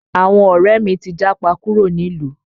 Àwọn ọ̀rẹ́ mi ti japa kúrò nílùú